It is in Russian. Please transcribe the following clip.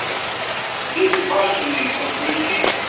безбашенные подключи